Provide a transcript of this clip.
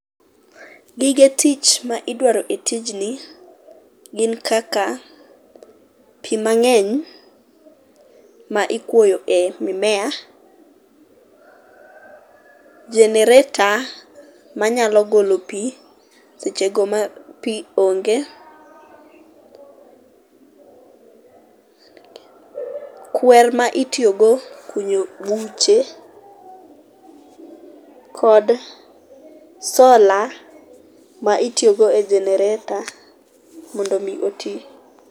Gige tich ma idwaro e tijni gin kaka pii mangeny ma ikuoyo e mimea ,generator manyalo golo pii sechego ma pii onge, kwer ma itiyo go kunyo buche kod solar ma itiyo go e generator mondo otii.